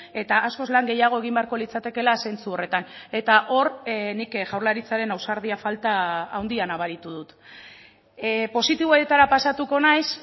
eta askoz lan gehiago egin beharko litzatekeela zentzu horretan eta hor nik jaurlaritzaren ausardia falta handia nabaritu dut positiboetara pasatuko naiz